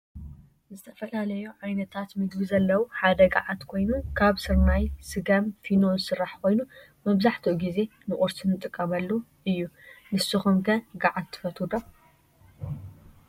ዝተፈላለዮ ዓይነታት ምግብ ዘለው ሐደ ጋዓት ኮይኑ ካብ ሰረናይ፣ ሰገም ፣ፌኖ ዝሰራሕ ኮይኑ መብዛሕትኡ ግዜ ንቁርሲ እንጥቀመሉ እዮ ።ንሰኩም ከ ጋዓት ትፈትው ዶ?